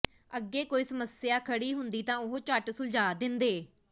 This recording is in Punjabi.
ਅੱਗੇ ਕੋਈ ਸਮੱਸਿਆ ਖੜੀ ਹੁੰਦੀ ਤਾਂ ਉਹ ਝੱਟ ਸੁਲਝਾ ਦਿੰਦੇ